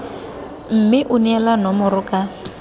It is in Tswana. mme o neele nomoro ka